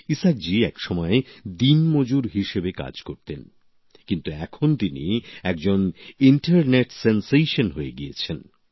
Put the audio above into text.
ইসাকজি একসময় দিনমজুর হিসেবে কাজ করতেন কিন্তু এখন তিনি একজন ইন্টারনেট সেন্সেশন হয়ে গিয়েছেন